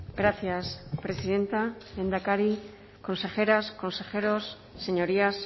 gracias presidenta lehendakari consejeras consejeros señorías